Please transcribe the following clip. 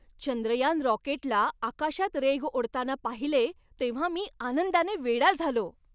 चंद्रयान रॉकेटला आकाशात रेघ ओढताना पाहिले तेव्हा मी आनंदाने वेडा झालो.